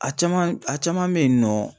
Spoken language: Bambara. A caman a caman bɛ yen nɔ